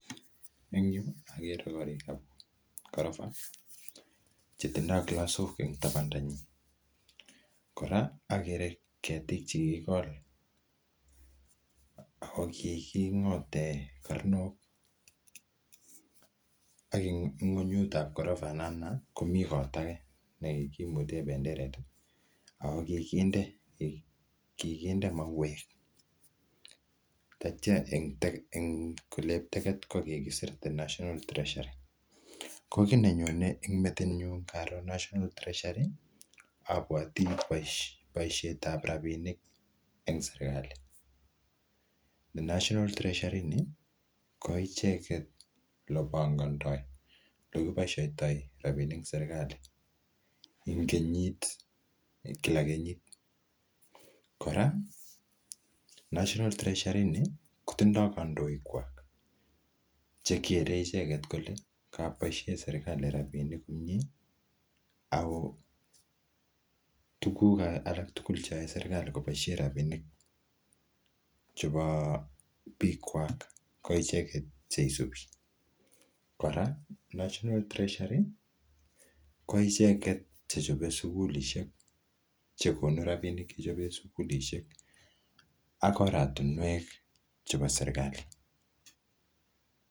Eng' yu, agere korikab korofa, che tindoi klasok eng' tabanda nyi. Kora, agere ketik che kikikol, ako kiking'ote karnok, ak um ng'unyutab korofat natana, komi kot age ne kikimute benderet. Ako kikinde, kikinde mauek. Atya eng' um olep teket ko kikisir The National Treasury. Ko kiy nenyone ing metit nyu ngaro national treasury, abwoti boisietab rabinik eng' serikali. Ne National Treasury ni, ko icheket le pangandoi, ole kiboisoitoi rabinik ing serikali ing kenyit, kila kenyit. Kora national treasury ini, kotindoi kandoik kwok, chekere icheket kole koboisiei serikali rabisiek komyee, ako tuguk alak tugul cheyae serikali koboisie rabinik chebo biik kwak, ko icheket che isubi. Kora, national treasury, ko icheket chechope sukulisiek che konu rabinik, chechobe sukulishek ak oratunwek chebo serikali.